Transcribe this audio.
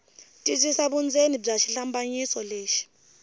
twisisa vundzeni bya xihlambanyiso lexi